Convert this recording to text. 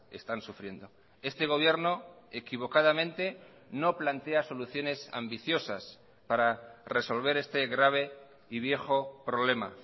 están sufriendo este gobierno equivocadamente no plantea soluciones ambiciosas para resolver este grave y viejo problema